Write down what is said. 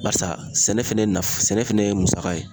Barisa sɛnɛ fɛnɛ nafa , sɛnɛ fɛnɛ ye musaka ye.